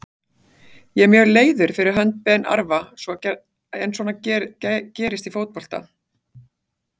Ég er mjög leiður fyrir hönd Ben Arfa en svona gerist í fótbolta.